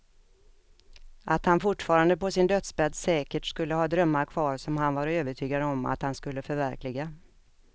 Att han fortfarande på sin dödsbädd säkert skulle ha drömmar kvar som han var övertygad om att han skulle förverkliga.